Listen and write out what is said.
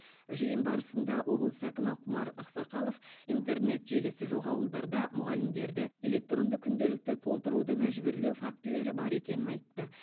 жиын барысында облыс әкімі құмар ақсақалов интернет желісі жоқ ауылдарда мұғалімдерді электронды күнделікті толтыруды мәжбүрлеу фактілері бар екенін айтты